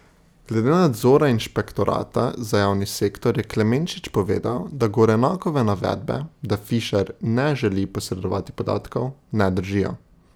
Glede nadzora inšpektorata za javni sektor je Klemenčič povedal, da Gorenakove navedbe, da Fišer ne želi posredovati podatkov, ne držijo.